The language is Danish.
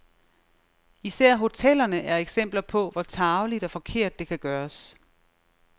Især hotellerne er eksempler på, hvor tarveligt og forkert det kan gøres.